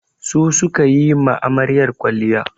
Su su ka yi ma amaryar kwalliya.